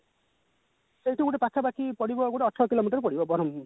ସେଇଠୁ ଗୋଟେ ପାଖାପାଖି ପଡିବ ଗୋଟେ ଅଠର କିଲୋମିଟର ପଡିବ ବରମ